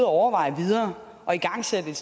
overveje videre og igangsætte et